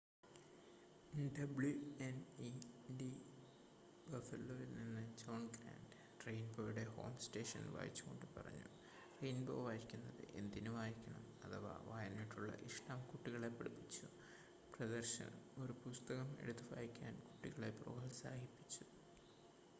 "WNED ബഫലോയിൽ നിന്ന് John Grant റെയിൻബോയുടെ ഹോം സ്റ്റേഷൻ വായിച്ചുക്കൊണ്ട് പറഞ്ഞു "റെയിൻബോ വായിക്കുന്നത് എന്തിന് വായിക്കണം... അഥവാ വായനയോടുള്ള ഇഷ്ടം കുട്ടികളെ പഠിപ്പിച്ചു - [പ്രദർശനം] ഒരു പുസ്തകം എടുത്ത് വായിക്കാൻ കുട്ടികളെ പ്രോത്സാഹിപ്പിച്ചു.""